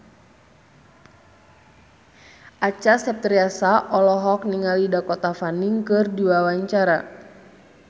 Acha Septriasa olohok ningali Dakota Fanning keur diwawancara